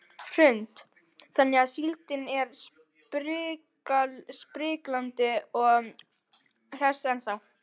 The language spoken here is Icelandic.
Hrund: Þannig að síldin er spriklandi og hress ennþá?